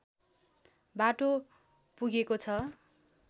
बाटो पुगेको छ